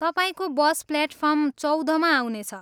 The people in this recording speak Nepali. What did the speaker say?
तपाईँको बस प्लेटफार्म चौधमा आउनेछ।